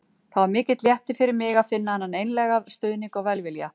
Það var mikill léttir fyrir mig að finna þennan einlæga stuðning og velvilja.